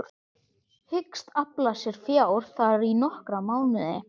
Hyggst afla sér fjár þar í nokkra mánuði.